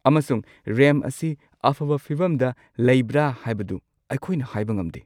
ꯑꯃꯁꯨꯡ ꯔꯦꯝꯞ ꯑꯁꯤ ꯑꯐꯕ ꯐꯤꯚꯝꯗ ꯂꯩꯕ꯭ꯔ ꯍꯥꯏꯕꯗꯨ ꯑꯩꯈꯣꯏꯅ ꯍꯥꯏꯕ ꯉꯝꯗꯦ꯫